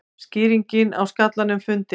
Skýringin á skallanum fundin